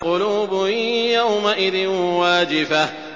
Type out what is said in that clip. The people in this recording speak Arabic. قُلُوبٌ يَوْمَئِذٍ وَاجِفَةٌ